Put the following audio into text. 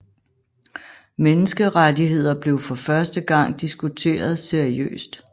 Menneskerettigheder blev for første gang diskuteret seriøst